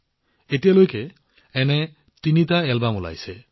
এতিয়ালৈকে এনেকুৱা তিনিটা এলবাম মুকলি কৰা হৈছে